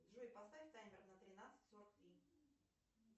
джой поставь таймер на тринадцать сорок три